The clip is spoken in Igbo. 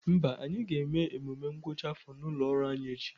Mba, anyị ga-eme emume ngwụcha afọ ụlọ ọrụ anyị echi